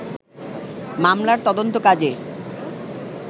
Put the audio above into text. মামলার তদন্ত কাজে